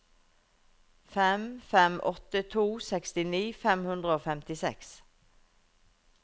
fem fem åtte to sekstini fem hundre og femtiseks